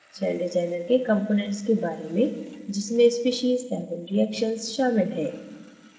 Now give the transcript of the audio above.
CellDesigner के components के बारे में जिसमें species एवं reactions शामिल हैं